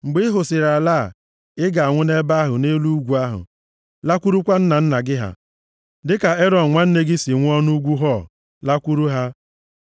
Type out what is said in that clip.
Mgbe ị hụsịrị ala a, ị ga-anwụ nʼebe ahụ nʼelu ugwu ahụ, lakwurukwa nna nna gị ha, dịka Erọn nwanne gị si nwụọ nʼugwu Hor, lakwuru ha.